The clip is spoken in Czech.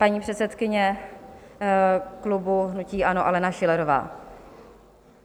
Paní předsedkyně klubu hnutí ANO Alena Schillerová.